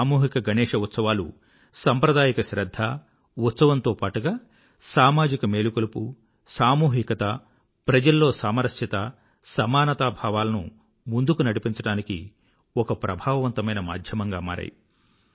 ఈ సామూహిక గణేశ ఉత్సవాలు సంప్రదాయక శ్రధ్ధ ఉత్సవంతో పాటుగా సమాజిక మేలుకొలుపు సామూహికత ప్రజల్లో సామరస్యత సమానత భావాలను ముందుకు నడిపించడానికి ఒక ప్రభావవంతమైన మాధ్యమంగా మారాయి